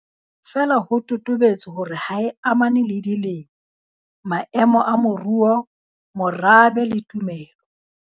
Feela ho totobetse hore ha e amane le dilemo, maemo a moruo, morabe le tumelo.